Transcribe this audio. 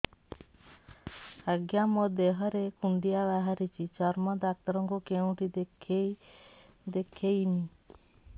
ଆଜ୍ଞା ମୋ ଦେହ ରେ କୁଣ୍ଡିଆ ବାହାରିଛି ଚର୍ମ ଡାକ୍ତର ଙ୍କୁ କେଉଁଠି ଦେଖେଇମି